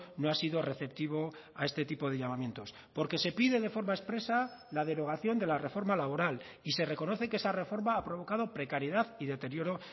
no ha sido receptivo a este tipo de llamamientos porque se pide de forma expresa la derogación de la reforma laboral y se reconoce que esa reforma ha provocado precariedad y deterioro